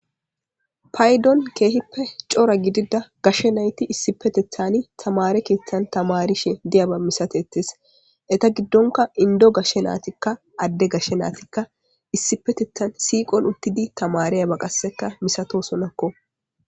Paydon kehippe cora giddida gashe nayti issipetethan tamare keththan tamariyaba de'iyaba missatettes.etta giddonka inddo gashe na'atikka adde gashe na'atikka issipetetethan siqo issippe uttidi tamariyaba massatosonakko.